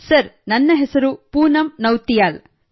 sir ನನ್ನ ಹೆಸರು ಪೂನಂ ನೌತಿಯಾಲ್